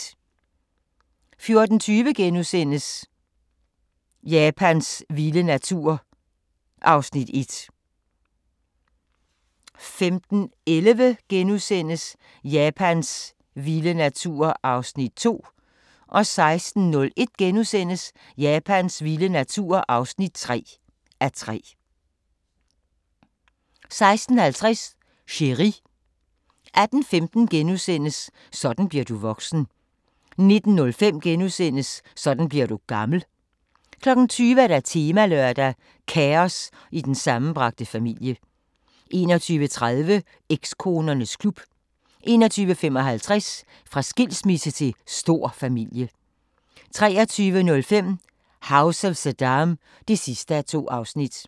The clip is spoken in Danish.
14:20: Japans vilde natur (1:3)* 15:11: Japans vilde natur (2:3)* 16:01: Japans vilde natur (3:3)* 16:50: Chéri 18:15: Sådan bliver du voksen * 19:05: Sådan bliver du gammel * 20:00: Temalørdag: Kaos i den sammenbragte familie 21:30: Ekskonernes klub 21:55: Fra skilsmisse til stor familie 23:05: House of Saddam (2:2)